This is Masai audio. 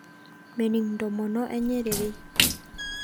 Mening ntomono enye rerei